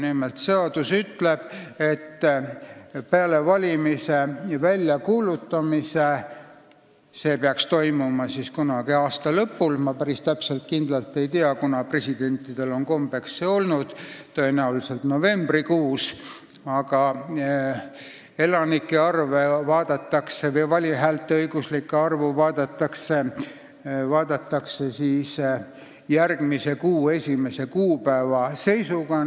Nimelt, seadus ütleb, et peale valimise väljakuulutamist – see peaks toimuma kunagi aasta lõpul, ma päris kindlalt ei tea, kunas presidentidel on see kombeks olnud, tõenäoliselt novembris – vaadatakse hääleõiguslike elanike arvu järgmise kuu 1. kuupäeva seisuga.